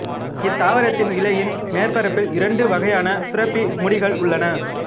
இத்தாவரத்தின் இலையின் மேற்பரப்பில் இரண்டு வகையான சுரப்பி முடிகள் உள்ளன